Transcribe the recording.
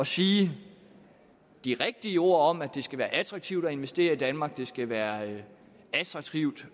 sige de rigtige ord om at det skal være attraktivt at investere i danmark det skal være attraktivt